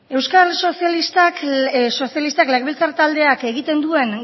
euskal sozialistak legebiltzar taldeak egiten duen